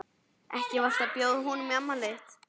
Ekki varstu að bjóða honum í afmælið þitt?